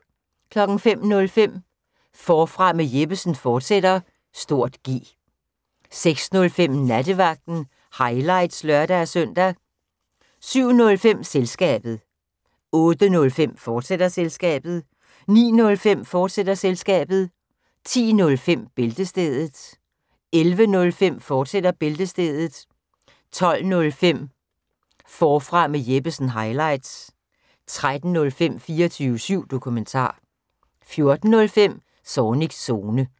05:05: Forfra med Jeppesen fortsat (G) 06:05: Nattevagten – highlights (lør-søn) 07:05: Selskabet 08:05: Selskabet, fortsat 09:05: Selskabet, fortsat 10:05: Bæltestedet 11:05: Bæltestedet, fortsat 12:05: Forfra med Jeppesen – highlights 13:05: 24syv Dokumentar 14:05: Zornigs Zone